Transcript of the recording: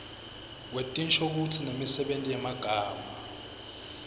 wetinshokutsi nemisebenti yemagama